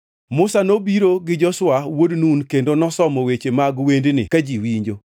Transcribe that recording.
Musa nobiro gi Joshua wuod Nun kendo nosomo weche mag wendni ka ji winjo.